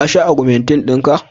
ka sha ogmentin naka?